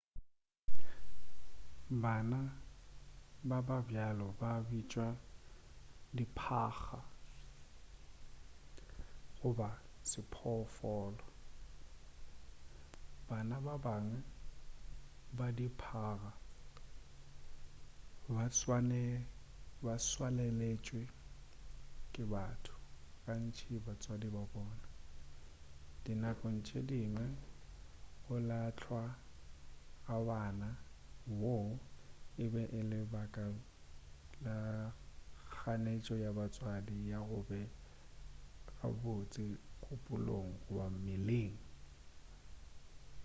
bana ba ba bjalo ba bitšwa diphaga goba sephoofolo. bana ba bangwe ba diphaga ba tswaleletšwe ke batho gantši batswadi ba bona; di nakong tše dingwe go lahlwa ga ngwana wo e be e le ka baka la kganetšo ya batswadi ya go be gabotse kgopolong goba mmeleng